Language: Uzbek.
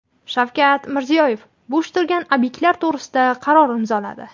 Shavkat Mirziyoyev bo‘sh turgan obyektlar to‘g‘risida qaror imzoladi.